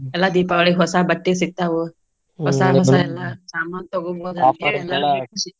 ಎಲ್ಲಾ ದೀಪಾವಳಿಗ ಹೊಸಾ ಬಟ್ಟಿ ಸಿಕ್ತಾವು. ಹೊಸಾ ಎಲ್ಲಾ ಸಾಮಾನ್ ತಗೋಬೋದು ಅಂತ ಹೇಳಿ .